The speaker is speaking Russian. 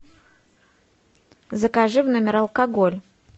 закажи в номер алкоголь